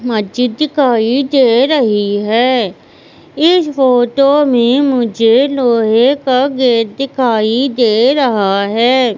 मस्जिद दिखाई दे रही है इस फोटो में मुझे लोहे का गेट दिखाई दे रहा है।